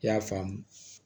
I y'a faamu